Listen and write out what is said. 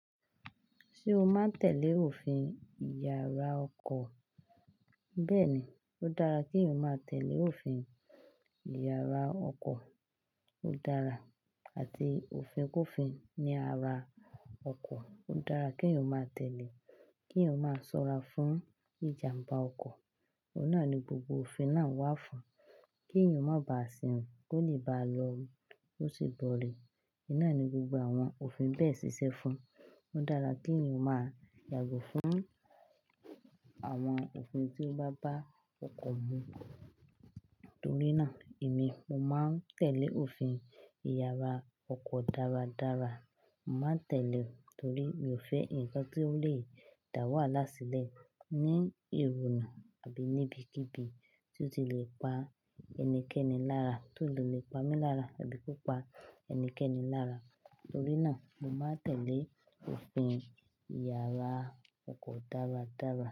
Ṣé o máa ń tẹ̀lé òfin ìyara ọkọ̀? Bẹ́ẹ̀ ni, ó dára kí o máa tẹ̀lé òfin ìyara ọkọ̀. Ó dára. Àti òfin kòfin ní ara ọkọ̀, ó dára kí o máa tẹ̀lé kí o máa ṣọ́ra fún ìjàmbá ọkọ̀. Óun náà ni gbogbo òfin náà wà fún. Kí èèyàn má ba à sirin ko, lé báa lọore kosi boọ́re Ìnáà ni gbogbo àwọn òfin bẹ́ẹ̀ ṣíṣe fún. Ó dára kí eyan o máa yàgò fún àwọn òfin tí ó bá bá ọkọ̀ mu. Torí náà èmi, mo máa ń tẹ̀lé òfin ìyara ọkọ̀ dáradára. Mo máa ń tẹ̀lé torí mi ò fẹ́ nǹkan tí ó lè dà wàhálà sílẹ̀ ní ìrònà àbí ní ibikíbi tí ó ti lè pa ẹnikẹ́ni lára, torí ó lè pa mí lára àbí kó pa ẹnikẹ́ni lára. Torí náà mo máa ń tẹ̀lé òfin ìyara ọkọ̀ dáradára.